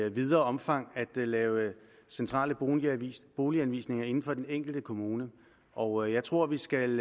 i videre omfang at lave centrale boliganvisninger inden for den enkelte kommune og jeg tror vi skal